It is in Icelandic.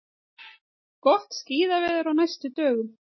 Gott skíðaveður á næstu dögum